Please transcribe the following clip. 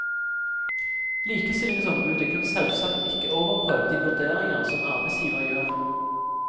Likestillingsombudet kan selvsagt ikke overprøve de vurderinger som arbeidsgiver gjør.